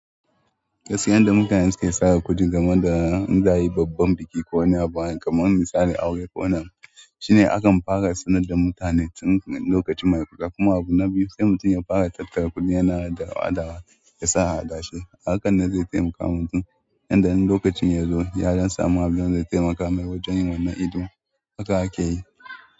Kasiyan da mukai suke saka kuɗi game da in za a yi babban biki ko wani abu kamar misali aure ko wani abu shine akan fara sanar da mutane tun lokaci mai faɗa kuma abu na biyu sai mutum ya fara tattara kuɗi yana da hawa ya sa a haɗashi hakan na zai taimaka wa mutum yadda nan lokacin ya zo ya don samu habu don zai taimaka mai wajen yin wannan ido haka ake yi.